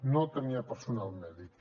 no tenia personal mèdic